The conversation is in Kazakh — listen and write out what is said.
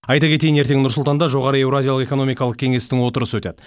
айта кетейін ертең нұр сұлтанда жоғары еуразиялық экономикалық кеңестің отырысы өтеді